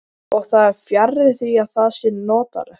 Og það er fjarri því að það sé notalegt.